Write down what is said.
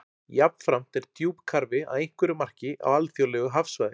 Jafnframt er djúpkarfi að einhverju marki á alþjóðlegu hafsvæði.